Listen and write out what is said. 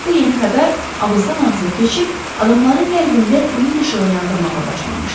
bu yeni xəbər ağızdan-ağıza keçib, adamların qəlbində ümid işığı yandırmağa başlamışdı.